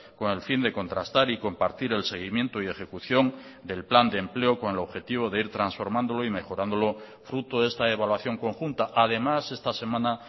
con el fin de contrastar y compartir el seguimiento y ejecución del plan de empleo con el objetivo de ir transformándolo y mejorándolo fruto de esta evaluación conjunta además esta semana